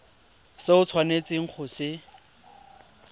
se o tshwanetseng go se